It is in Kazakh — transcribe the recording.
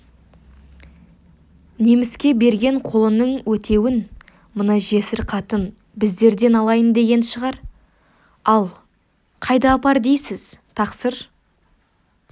неміске берген қолының өтеуін мына жесір қатын біздерден алайын деген шығар ал қайда апар дейсіз тақсыр